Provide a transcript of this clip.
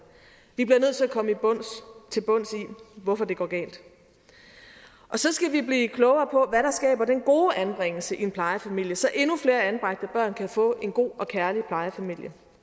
vi bliver nødt til at komme til bunds i hvorfor det går galt så skal vi blive klogere på hvad der skaber den gode anbringelse i en plejefamilie så endnu flere anbragte børn kan få en god og kærlig plejefamilie